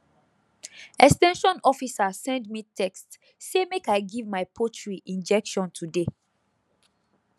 ex ten sion officer send me text say make i give my poultry injection today